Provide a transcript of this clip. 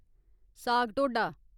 साग-ढोह्‌डा